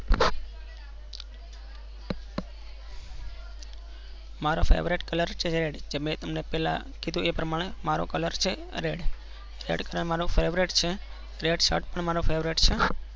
મારો favorite colour છે. જેમ કે તમેને પહેલા કીધું એ પ્રમાણે મારો કલર છે red colour મારો favorite છે. red shairt પણ મારો favorite છે.